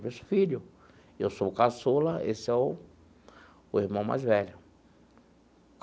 Disse, filho, eu sou o caçula, esse é o o irmão mais velho.